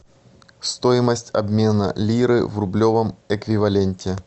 стоимость обмена лиры в рублевом эквиваленте